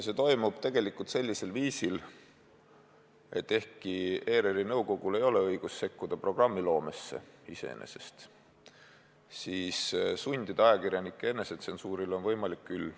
See toimub sellisel viisil, et ehkki ERR-i nõukogul ei ole õigust sekkuda programmiloomesse, siis sundida ajakirjanikke enesetsensuurile on võimalik küll.